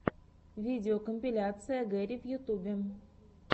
видеокомпиляция гэри в ютубе